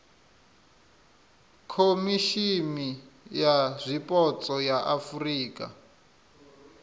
khomishimi ya zwipotso ya afurika